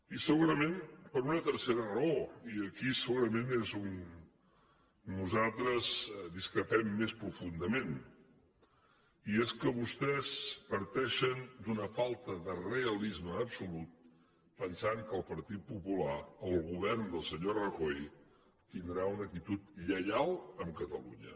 i segurament per una tercera raó i aquí segurament és on nosaltres discrepem més profundament i és que vostès parteixen d’una falta de realisme absolut pensant que el partit popular el govern del senyor rajoy tindrà una actitud lleial amb catalunya